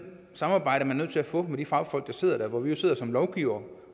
samarbejde man er nødt til at få med de fagfolk der sidder der hvor vi jo sidder som lovgivere